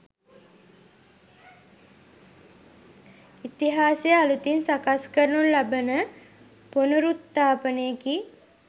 ඉතිහාසය අලුතින් සකස් කරනු ලබන පුනරුත්ථාපනයකි